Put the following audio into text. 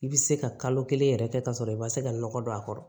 I bɛ se ka kalo kelen yɛrɛ kɛ ka sɔrɔ i ma se ka nɔgɔ don a kɔrɔ